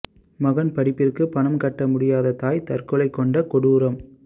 மகன் படிப்பிற்கு பணம் கட்ட முடியாத தாய் தற்கொலை கொண்ட கொடூரம்